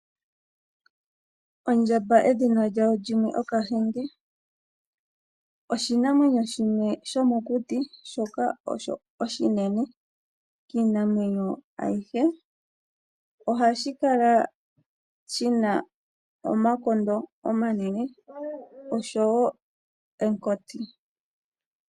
Ondjamba edhina lyawo limwe Okahenge, oshinamwenyo shimwe shomokuti shono oshinene kiinamwenyo ayihe. Ohashi kala shina omakondo omanene oshowo omukoti.